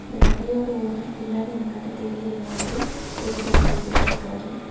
இந்த கடையோட ஓனர் பின்னாடி இந்த கட தெரியிற மாதிரி ஒரு செல்ஃபி எடுத்துருக்காரு.